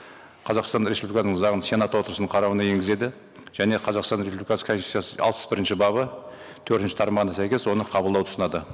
қазақстан республикасының заңын сенат отырысының қарауына енгізеді және қазақстан республикасы конституциясы алпыс бірінші бабы төртінші тармағына сәйкес оны қабылдауды ұсынады